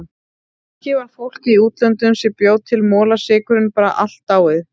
Kannski var fólkið í útlöndunum sem bjó til molasykurinn bara allt dáið.